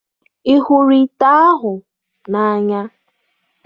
Ị hụrụ ite ahụ n'anya?